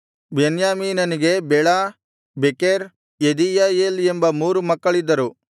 ಬೆನ್ಯಾಮೀನನಿಗೆ Bela Becher Jediael ಎಂಬ ಮೂರು ಮಕ್ಕಳಿದ್ದರು